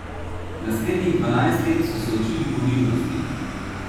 Naslednjih dvanajst let so se učili ponižnosti.